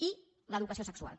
i l’educació sexual